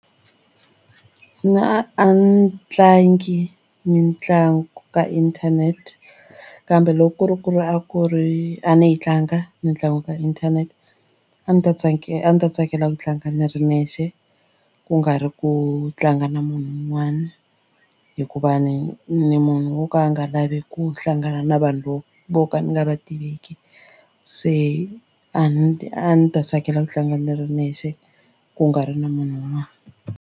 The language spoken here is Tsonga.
A ni tlangi mitlangu ka internet kambe loko ku ri ku ri a ku ri a ni yi tlanga mitlangu ka inthanete a ni ta tsakela a ni ta tsakela ku tlanga ni ri nexe ku nga ri ku tlanga na munhu un'wana hikuva ni ni munhu wo ka a nga lavi ku hlangana na vanhu vo vo ka ni nga va tiveki se a ni a ndzi ta tsakela ku tlanga ni ri nexe ku nga ri na munhu un'wana.